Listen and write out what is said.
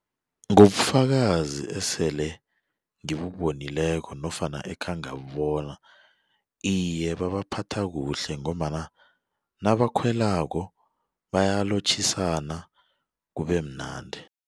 Ngobufakazi esele ngibubonileko nofana ekhengabubona iye babaphatha kuhle ngombana nabakhwelako bayalotjhisana kubemnandi.